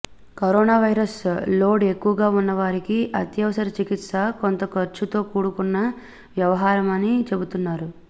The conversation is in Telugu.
కరోనా వైరస్ లోడ్ ఎక్కువగా ఉన్న వారికి అత్యవసర చికిత్స కొంత ఖర్చుతో కూడుకున్న వ్యవహారమని చెబుతున్నారు